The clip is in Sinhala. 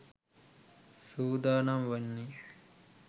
සූදානම් වන්නේ.